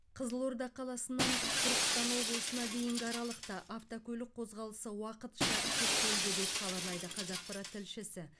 қызылорда қаласынан түркістан облысына дейінгі аралықта автокөлік қозғалысы уақытша шектелді деп хабарлайды қазақпарат тілшісі